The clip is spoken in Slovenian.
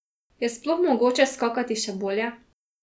Je sploh mogoče skakati še bolje?